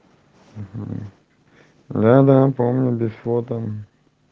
угу надо помню без фото